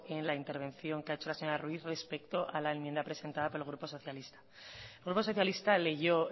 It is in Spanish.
en la intervención que ha hecho la señora ruiz respecto a la enmienda presentada por el grupo socialista el grupo socialista leyó